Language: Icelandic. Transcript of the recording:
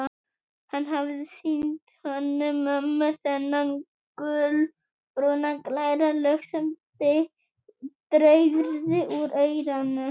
Hann hafði sýnt Hönnu-Mömmu þennan gulbrúna, glæra lög sem dreyrði úr eyranu.